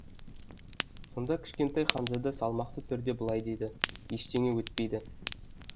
сонда кішкентай ханзада салмақты түрде былай деді ештеңе етпейді